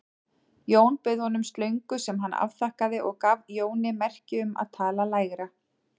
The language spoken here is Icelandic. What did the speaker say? Jón bauð honum slöngu sem hann afþakkaði og gaf Jóni merki um að tala lægra.